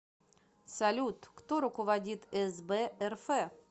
салют кто руководит сб рф